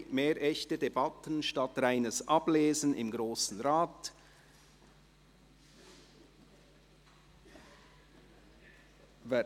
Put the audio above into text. «Mehr echte Debatten statt reines Ablesen im Grossen Rat».